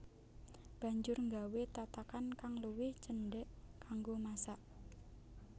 Banjur nggawé tatakan kang luwih cendhek kanggo masak